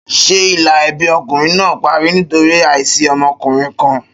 Ṣé ìlà ẹbí ọkùnrin náà parí nítorí àìsí ọmọkùnrin kan?